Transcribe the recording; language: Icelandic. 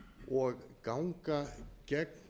og ganga gegn